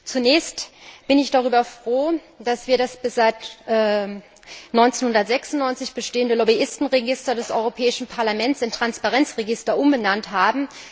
Zunächst bin ich darüber froh, dass wir das seit 1996 bestehende Lobbyistenregister des Europäischen Parlaments in Transparenz Register umbenannt haben.